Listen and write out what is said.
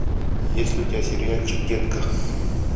есть ли у тебя сериальчик детка